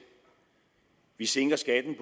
vi sænker skatten